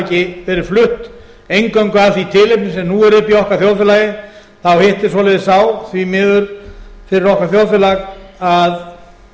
ekki verið flutt eingöngu af því tilefni sem nú er uppi í okkar þjóðfélagi þá hittist svoleiðis á því miður fyrir okkar þjóðfélag að